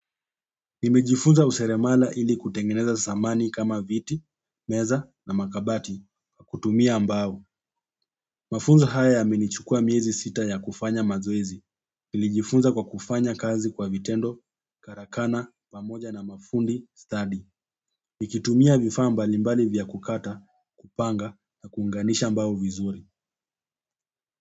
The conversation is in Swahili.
Nimejifunza useremala ili kutengeneza samani kama viti, meza na makabati, kwa kutumia mbao. Mafunzo haya yamenichukua miezi sita ya kufanya mazoezi. Nilijifunza kwa kufanya kazi kwa vitendo, karakana pamoja na mafundi stadi nikitumia vifaa mbalimbali vya kukata, kupanga na kuunganisha mbao vizuri.